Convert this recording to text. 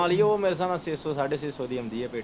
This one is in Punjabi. ਉਹ ਮੇਰੇ ਸਾਬ ਨਾ ਛੇ ਸੌ ਸਾਢੇ ਛੇ ਸੌ ਦੀ ਆਉਂਦੀ ਆ ਪੈਟੀ।